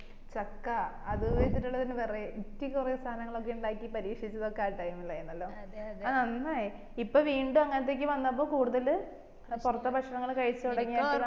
ചക്ക അത് വെച്ചിട്ടില്ല variety കൊറേ സാനങ്ങളൊക്കെ ഉണ്ടാക്കി പരീക്ഷിച്ചതൊക്കെ ആ time ഇത് ആർന്നല്ലോ ആ അന്നേ ഇപ്പൊ വീണ്ടും അങ്ങനെത്തെ ഒക്കെ വന്നപ്പോ കൂടുതൽ പൊറത്തെ ഭക്ഷണങ്ങള് കഴിച്ച തൊടങ്ങിയപ്പോഴാണ്